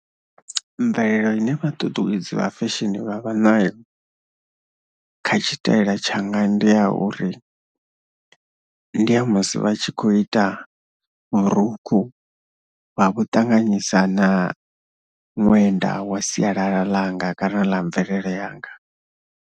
Mvelele ine vha ṱuṱuwedze vha fesheni vha vha na kha tshitaela tshanga ndi ya uri, ndi ya musi vha tshi khou ita vhurukhu vha vhu ṱanganyisa na ṅwenda wa sialala ḽanga kana ḽa mvelele yanga.